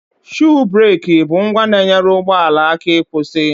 Shuu bereki bụ ngwa na-enyere ụgbọala aka ịkwụsị